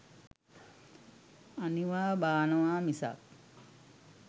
අනිවා බානවා මිසක්